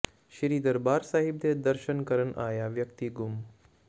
ਸ੍ਰੀ ਦਰਬਾਰ ਸਾਹਿਬ ਦੇ ਦਰਸ਼ਨ ਕਰਨ ਆਇਆ ਵਿਅਕਤੀ ਗੁੰਮ